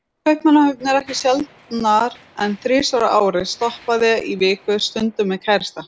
Kaupmannahöfn ekki sjaldnar en þrisvar á ári, stoppaði í viku, stundum með kærasta.